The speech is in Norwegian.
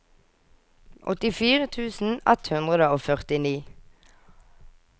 åttifire tusen ett hundre og førtini